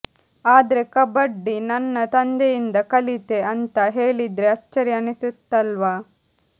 ಆದ್ರೆ ಕಬಡ್ಡಿ ನನ್ನ ತಂದೆಯಿಂದ ಕಲಿತೆ ಅಂತಾ ಹೇಳಿದ್ರೆ ಅಚ್ಚರಿ ಅನ್ನಿಸುತ್ತಲ್ವಾ